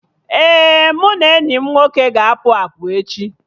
Ee, mụ na enyi m nwoke ga-apụ apụ echi